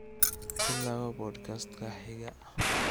ku laabo podcast-ka xiga